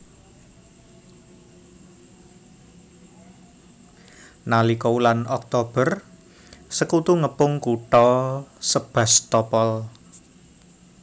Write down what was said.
Nalika wulan Oktober Sekutu ngepung Kutha Sebastopol